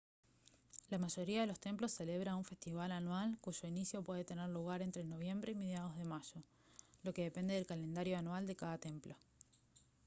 la mayoría de los templos celebra un festival anual cuyo inicio puede tener lugar entre noviembre y mediados de mayo lo que depende del calendario anual de cada templo